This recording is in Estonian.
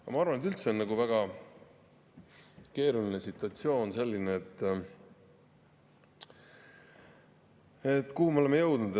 Aga ma arvan, et see on üldse väga keeruline situatsioon, kuhu me oleme jõudnud.